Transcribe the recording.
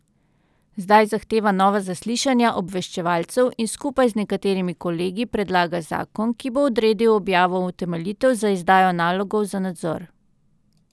Zdaj zahteva nova zaslišanja obveščevalcev in skupaj z nekaterimi kolegi predlaga zakon, ki bo odredil objavo utemeljitev za izdajo nalogov za nadzor.